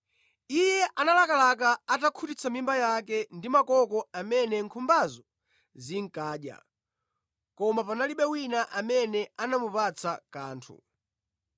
Iye analakalaka atakhutitsa mimba yake ndi makoko amene nkhumbazo zinkadya, koma panalibe wina amene anamupatsa kanthu.